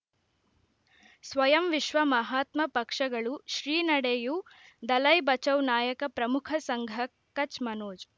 ಸ್ವಯಂ ವಿಶ್ವ ಮಹಾತ್ಮ ಪಕ್ಷಗಳು ಶ್ರೀ ನಡೆಯೂ ದಲೈ ಬಚೌ ನಾಯಕ ಪ್ರಮುಖ ಸಂಘ ಕಚ್ ಮನೋಜ್